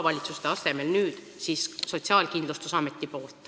Maavalitsuste asemel peaks seda nüüd tegema Sotsiaalkindlustusamet.